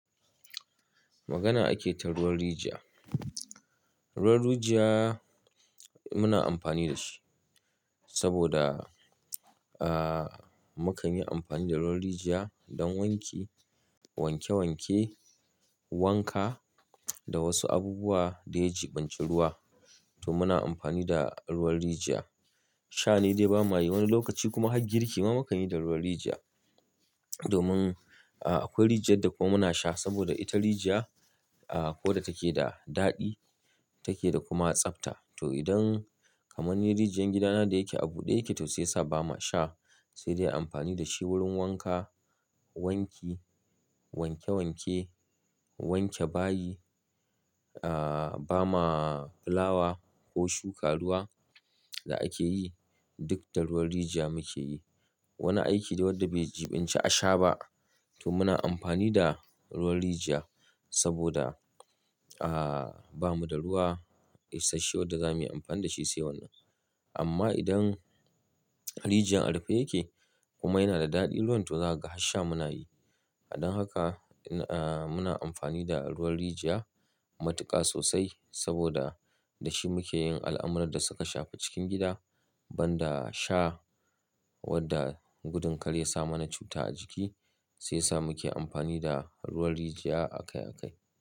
Magana ake ta ruwan rijiya. Ruwan rijiya muna amfani da shi saboda, muka yi amfani da ruwan rijiya don wanki, wanke wanke, wanka da wasu abubuwa da ya jiɓinci ruwa. To muna amfani da ruwan rijiya. Sha ne dai ba mayi, wani lokaci kuma har girki ma mukanyi da ruwan rijiya. Domin akwai rijiyar da kuma muna sha saboda ita rijiya akwai wanda take da daɗi take da kuma tsabta. To idan kamar ni rijiyar gidana da yake a bude yake to shiyasa ba ma sha, sai dai amfani da shi wurin wanka, wanki, wanke wanke, wanke bayi, aa, ba ma fulawa ko shuka ruwa da ake yi duk da ruwan rijiya muke yi. Wani aiki dai wanda bai jiɓinci a sha ba to muna amfani da ruwan rijiya saboda, bamu da ruwa isasshe wadda zamuyi amfani da shi sai wannan. Amma idan rijiyar a rufe yake kuma yana da daɗi ruwan to za ka ga har sha munayi. Don haka, muna amfani da ruwan rijiya matuƙa sosai saboda da shi muke yin al'amuran da suka shafi cikin gida. Banda sha wadda gudun kar ya sa mana cuta a jiki shiyasa muke amfani da ruwan rijiya akai akai.